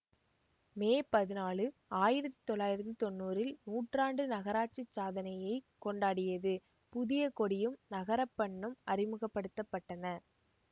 மே பதினாலு ஆயிரத்தி தொள்ளாயிரத்தி தொன்னூறில் நூற்றாண்டு நகராட்சி சாதனையைக் கொண்டாடியது புதிய கொடியும் நகரப்பண்ணும் அறிமுகப்படுத்தப்பட்டன